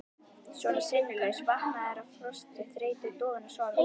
Svona sinnulaus, vankaður af frosti, þreytu, dofinn af sorg.